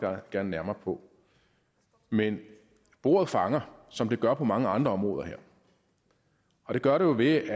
gerne nærmere på men bordet fanger som det gør på mange andre områder her og det gør det jo ved